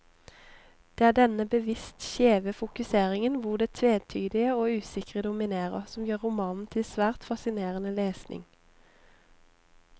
Det er denne bevisst skjeve fokuseringen, hvor det tvetydige og usikre dominerer, som gjør romanen til svært fascinerende lesning.